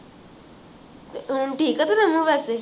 ਹੁਣ ਠੀਕ ਹੈ ਤੇਰਾ ਮੂੰਹ ਵੈਸੇ